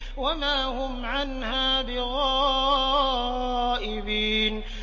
وَمَا هُمْ عَنْهَا بِغَائِبِينَ